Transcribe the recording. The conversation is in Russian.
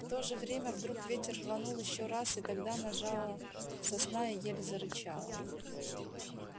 в то же время вдруг ветер рванул ещё раз и тогда нажала сосна и ель зарычала